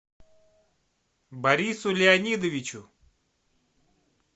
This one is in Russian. борису леонидовичу